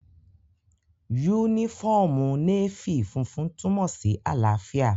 Yúnífọ́ọ̀mù Nééfì funfun túnmọ̀ sí àlàáfíà